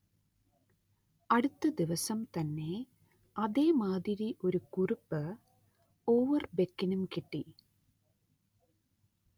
അടുത്തദിവസം തന്നെ അതേമാതിരി ഒരു കുറിപ്പ് ഓവർബെക്കിനും കിട്ടി